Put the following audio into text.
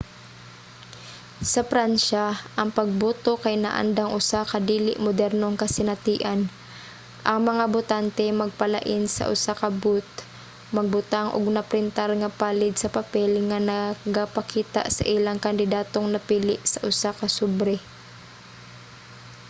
sa pransya ang pagboto kay naandang usa ka dili modernong kasinatian: ang mga botante magpalain sa usa ka booth magbutang og na-printar nga palid sa papel nga nagapakita sa ilang kandidatong napili sa usa ka sobre